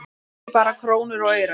Ekki bara krónur og aurar